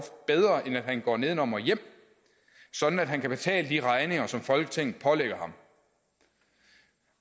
bedre end at han går nedenom og hjem sådan at han kan betale de regninger som folketinget pålægger ham